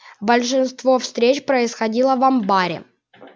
большинство встреч происходило в амбаре